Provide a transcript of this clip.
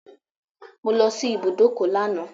I went to the bus stop yesterday